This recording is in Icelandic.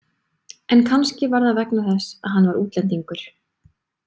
En kannski var það vegna þess að hann var útlendingur.